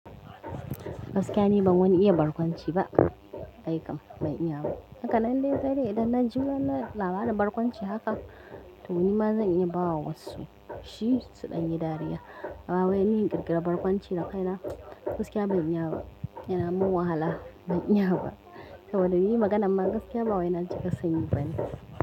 Gaskiya ni ban wani iya barkwanci ba, ai kam ban iya ba. Haka nan dai saidai idan na ji wani labarin barkwanci haka, to ni ma zan iya ba wa wasu, shi, su ɗan yi dariya. Ba wai ni in ƙirƙira barkwanci na kaina, gaskiya ban iya ba, yana mun wahala, ban iya ba. Saboda ni maganar ma, gaskiya ba wai na cika sanyi bane.